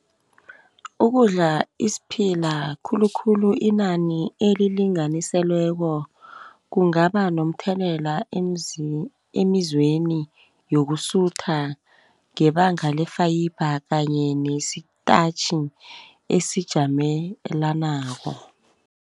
Ukudla isiphila khulukhulu inani elilinganiselweko kungaba nomthelela emizweni yokusutha, ngebanga le-fiber kanye nesi-starch esijamelanako.